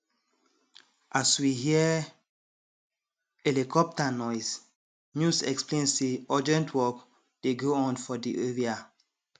as we hear helicopter noise news explain say urgent work dey go on for di area